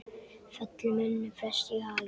fellur mönnum flest í haginn